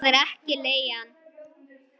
Það er ekki leigan.